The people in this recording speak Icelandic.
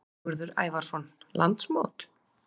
Sigurður Ævarsson: Landsmót?